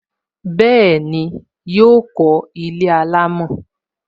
Bẹẹni, yọ kó ilé alámò